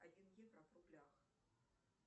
один евро в рублях